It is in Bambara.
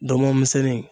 Dɔgɔnɔmisɛnnin